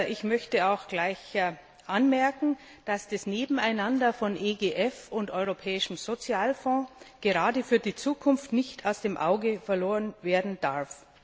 Ich möchte auch gleich anmerken, dass das Nebeneinander von EGF und Europäischem Sozialfonds gerade für die Zukunft nicht aus dem Auge verloren werden darf.